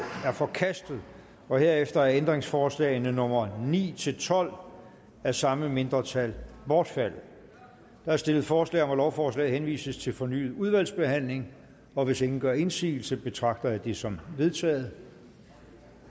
er forkastet herefter er ændringsforslag nummer ni tolv af samme mindretal bortfaldet der er stillet forslag om at lovforslaget henvises til fornyet udvalgsbehandling og hvis ingen gør indsigelse betragter jeg det som vedtaget